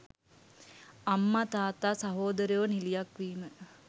අම්මා තාත්තා සහෝදරයෝ නිළියක් වීම